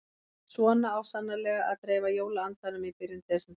Svona á svo sannarlega að dreifa jóla-andanum í byrjun desember.